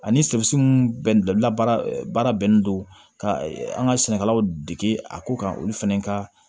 Ani baara bɛnnen don ka an ka sɛnɛkɛlaw dege a ko kan olu fana ka